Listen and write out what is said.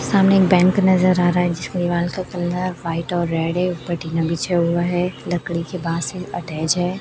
सामने एक बैंक नजर आ रहा है जिसके वाल का कलर व्हाइट और रेड है ऊपर टीना बिछा हुआ है लकड़ी के बास से अटैच है।